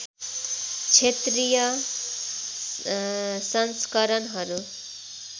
क्षेत्रीय संस्करणहरू